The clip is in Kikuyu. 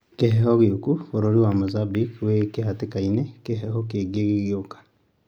Kĩheho gĩuku:Bũrũri wa Mozambique ĩ gĩhatikainĩ kĩheho kĩngĩ gĩgĩũka